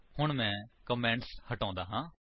ਹੁਣ ਮੈਂ ਕਮੇਂਟਸ ਹਟਾਉਂਦਾ ਹਾਂ